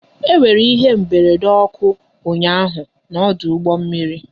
E nwere ihe mberede ọkụ ụnyaahụ n'ọdụ ụgbọ mmiri